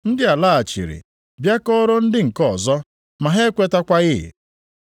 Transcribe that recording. Ndị a laghachiri bịa kọọrọ ndị nke ọzọ ma ha ekwetakwaghị.